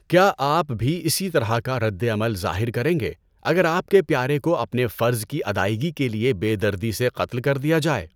کیا آپ بھی اسی طرح کا ردعمل ظاہر کریں گے اگر آپ کے پیارے کو اپنے فرض کی ادائیگی کے لیے بے دردی سے قتل کر دیا جائے؟